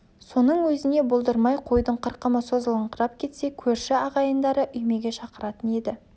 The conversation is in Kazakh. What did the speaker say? соның өзіне болдырмай қойдың қырқымы созылыңқырап кетсе көрші ағайындарды үймеге шақыратын еді